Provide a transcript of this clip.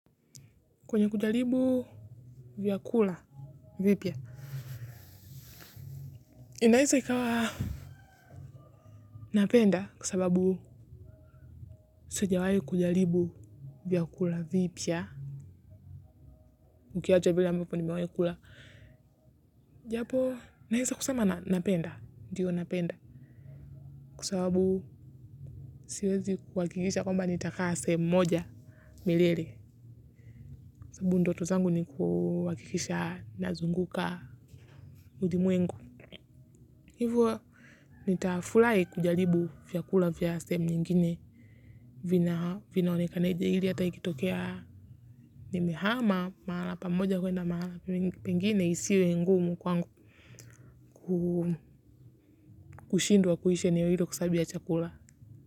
Kwenye kujalibu vyakula, vipya. Inaesa ikawa napenda kwa sababu sijawai kujalibu vyakula vipya. Ukiacha vile ambvo nimewaikula. Japo, naesa kusema napenda, ndiyo napenda. Kwa sababu siwezi kuakikisha kwamba nitakaa sehemu moja milele. Sabubu ndoto zangu nikuakikisha nazunguka ulimwengu. Hivo nitafulai kujalibu vyakula vya sehemu nyingine vinaonekaneja hili ata ikitokea nimehama mahala pamoja kwenda mahala pengine isiwe ngumu kwangu kushindwa kuishi eneo hilo kwa sababu ya chakula.